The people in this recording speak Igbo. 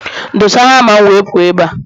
Doza hama m wee pụọ ebe a!